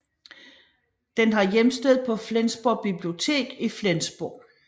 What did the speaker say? Den har hjemsted på Flensborg Bibliotek i Flensborg